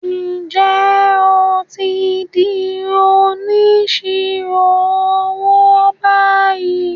Ǹjẹ́ o ti di “ Onísirò owó " báyìí?